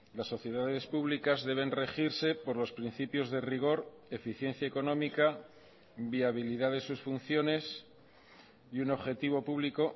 las sociedades públicas deben regirse por los principios de rigor eficiencia económica viabilidad de sus funciones y un objetivo público